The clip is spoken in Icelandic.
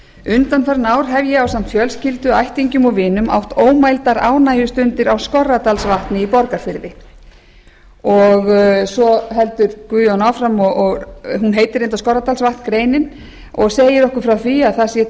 undanfarin ár hef ég ásamt fjölskyldu ættingjum og vinum átt ómældar ánægjustundir á skorradalsvatni í borgarfirði svo heldur guðjón áfram þessi grein heitir reyndar skorradalsvatn og segir okkur frá því að það sé